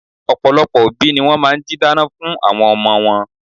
Ọ̀pọ̀lọpọ̀ obi ni wọ́n máa n jí dáná fun àwọn n omo wọn